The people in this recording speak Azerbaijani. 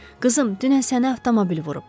Qızım, dünən səni avtomobil vurub.